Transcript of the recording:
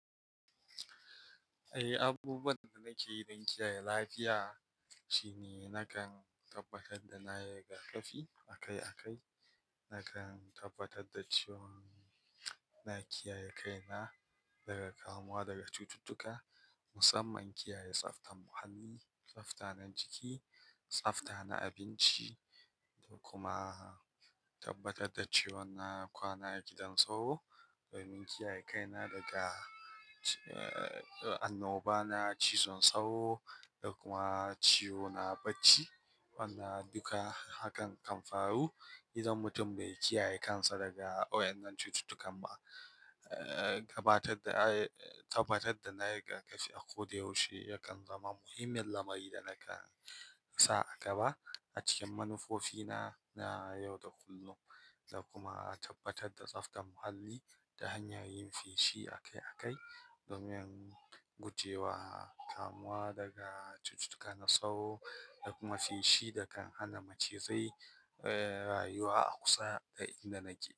Eh, abubuwan da nake yi don kiyaye lafiya shine nakan tabbatar da na yi rigakafi akai-akai, nakan tabbatar da cewan na kiyaye kaina daga kamuwa daga cututtuka, musamman kiyaye tsaftar muhalli, tsafta na jiki, tsafta na abinci da kuma tabbatar da cewan na kwana a gidan sauro domin kiyaye kaina daga, eh, annoba na cizon sauro da kuma ciwo na bacci. Wannan duka hakan kan faru idan mutum bai kiyaye kansa daga waɗannan cututtukan ba. Eh, gabatar da, eh, tabbatar da na yi rigakafi a ko da yaushe yakan zama muhimmiyar lamari da nake sa a gaba a cikin manufofina na yau da kullun. Da kuma tabbatar da tsaftar muhalli ta hanyar yin feshi akai-akai domin gujewa kamuwa daga cututtuka na sauro da kuma feshi da kan hana macizai, eh, rayuwa a kusa da inda nake.